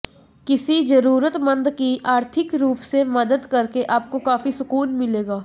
किसी जरूरतमंद की आर्थिक रूप से मदद करके आपको काफी सुकून मिलेगा